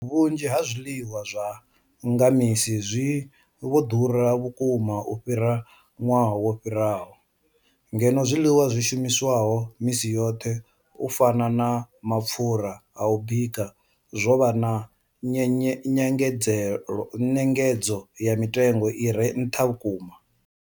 Vhunzhi ha zwiḽiwa zwa nga misi zwi vho ḓura vhukuma u fhira ṅwaha wo fhiraho, ngeno zwiḽiwa zwi shumiswaho misi yoṱhe u fana na mapfhura a u bika zwo vha na nyengedzedzo ya mitengo i re nṱha vhukuma.